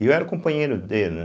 E eu era companheiro dele, né.